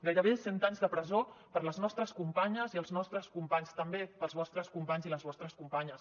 gairebé cent anys de presó per les nostres companyes i els nostres companys també pels vostres companys i les vostres companyes